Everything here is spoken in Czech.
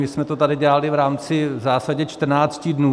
My jsme to tady dělali v rámci v zásadě 14 dnů.